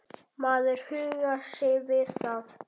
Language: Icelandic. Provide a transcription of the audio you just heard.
Maður huggar sig við það.